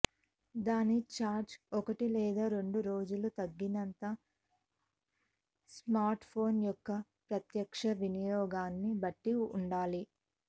దాని ఛార్జ్ ఒకటి లేదా రెండు రోజులు తగినంత స్మార్ట్ఫోన్ యొక్క ప్రత్యక్ష వినియోగాన్ని బట్టి ఉండాలి